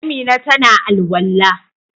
Amina ta na al'walla.